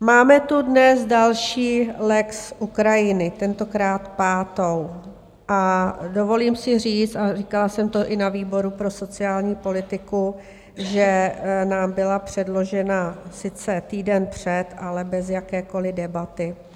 Máme tu dnes další lex Ukrajinu, tentokrát pátou, a dovolím si říct, a říkala jsem to i na výboru pro sociální politiku, že nám byla předložena sice týden před, ale bez jakékoli debaty.